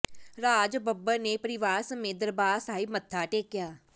ਰਾਜ ਬੱਬਰ ਨੇ ਪਰਿਵਾਰ ਸਮੇਤ ਦਰਬਾਰ ਸਾਹਿਬ ਮੱਥਾ ਟੇਕਿਆ